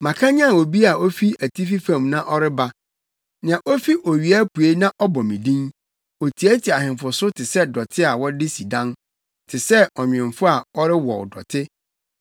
“Makanyan obi a ofi atifi fam na ɔreba, nea ofi owia apuei na ɔbɔ me din. Otiatia ahemfo so te sɛ dɔte a wɔde si dan, te sɛ ɔnwemfo a ɔrewɔw dɔte.